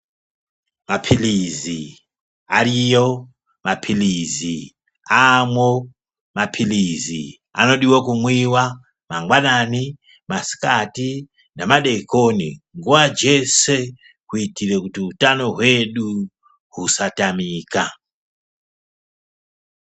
Mapilizi ariyo, mapilisi amwo, mapilizi anodiwa kumwiwa mangwanani, masikati nemadekoni nguwa dzeshe kuitira kuti utano hwedu husatamika.